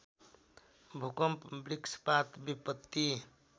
भूकम्प वृक्षपात विपत्ति